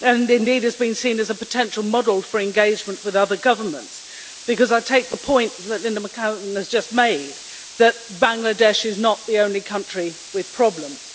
and indeed has been seen as a potential model for engagement with other governments, because I take the point that Linda McAvan has just made, that Bangladesh is not the only country with problems.